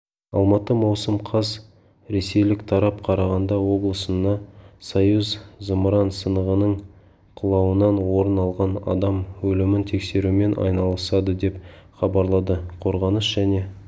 алматы маусым қаз ресейлік тарап қарағанды облысына союз зымыран сынығының құлауынан орын алған адам өлімін тексерумен айналысады деп хабарлады қорғаныс және